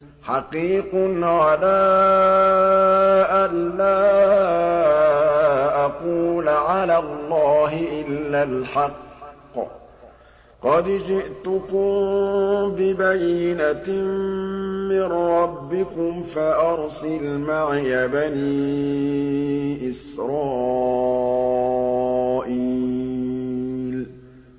حَقِيقٌ عَلَىٰ أَن لَّا أَقُولَ عَلَى اللَّهِ إِلَّا الْحَقَّ ۚ قَدْ جِئْتُكُم بِبَيِّنَةٍ مِّن رَّبِّكُمْ فَأَرْسِلْ مَعِيَ بَنِي إِسْرَائِيلَ